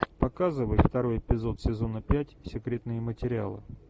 показывай второй эпизод сезона пять секретные материалы